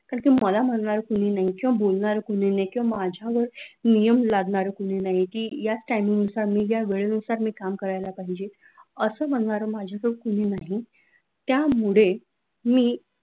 कारण कि मला म्हणणार कोणी नाही किंवा बोलणार पण नाही किंवा माझ्यावरनियम लादणार कोणी नाही की याच timing नुसार मी ज्या वेळेनुसार मी काम करायला पाहिजे असं म्हणणारे माझ्या कडे कोणी नाही त्यामुळे मी